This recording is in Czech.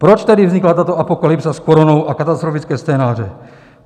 Proč tady vznikla tato apokalypsa s koronou a katastrofické scénáře?